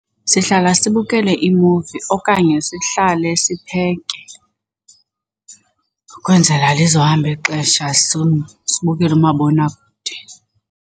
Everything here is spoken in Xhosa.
Sihlala sibukele imuvi okanye sihlale sipheke kwenzela lizohamba ixesha sibukele umabonakude.